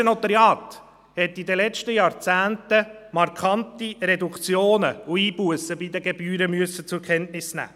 Das bernische Notariat musste in den letzten Jahrzehnten markante Reduktionen und Einbussen bei den Gebühren zur Kenntnis nehmen.